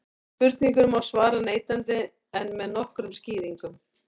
spurningunni má svara neitandi en með nokkrum skýringum